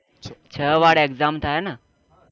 છ વાર exam થાય ને